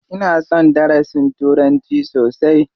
Ina son darasin turanci sosai.